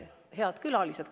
Head külalised!